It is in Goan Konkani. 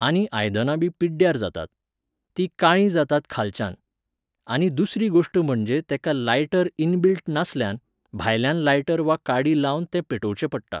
आनी आयदनां बी पिड्ड्यार जातात. तीं काळीं जातात खालच्यान. आनी दुसरी गोश्ट म्हणजे तेका लायटर इनबिल्ट नासल्यान, भायल्यान लायटर वा काडी लावन तें पेटवचें पडटा